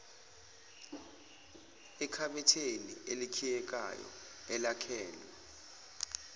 ekhabetheni elikhiyekayo elakhelwe